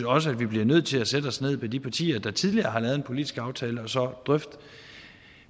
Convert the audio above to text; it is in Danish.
også at vi bliver nødt til at sætte os ned med de partier der tidligere har lavet en politisk aftale og så drøfte